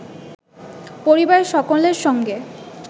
পরিবারের সকলের সঙ্গে